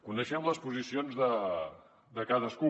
coneixem les posicions de cadascú